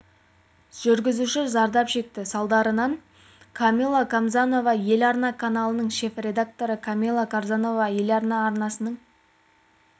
жүргізуші зардап шекті салдарынан жүргізушісі зардап шекті камила қамназарова еларна арнасының шеф-редакторы камила қамназарова еларна арнасының